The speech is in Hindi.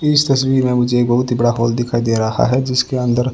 इस तस्वीर में मुझे एक बहुत ही बड़ा हाल दिखाई दे रहा है जिसके अंदर--